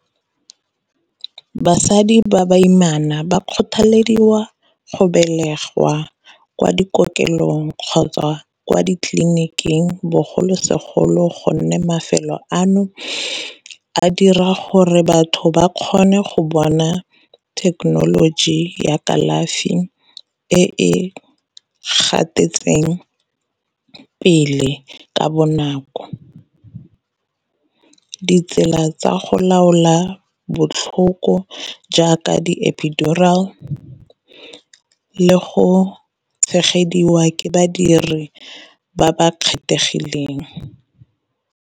Basadi ba baimana ba kgothalediwa go belegwa kwa dikokelong kgotsa kwa di tleliniking, bogolosegolo gonne mafelo ano a dira gore batho ba kgone go bona thekenoloji ya kalafi e gatetseng pele ka bonako. Ditsela tsa go laola botlhoko jaaka di-epidural le go tshegediwa ke badiri ba ba kgethegileng.